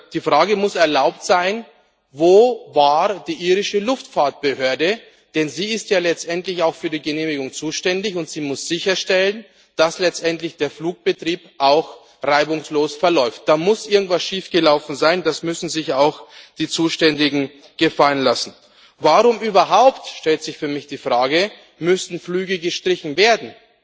Die Frage muss erlaubt sein Wo war die irische Luftfahrtbehörde? Denn sie ist ja letztendlich auch für die Genehmigung zuständig, und sie muss sicherstellen, dass der Flugbetrieb letztendlich auch reibungslos verläuft. Da muss irgendetwas schiefgelaufen sein, das müssen sich auch die Zuständigen gefallen lassen. Warum überhaupt stellt sich für mich die Frage müssen Flüge gestrichen werden?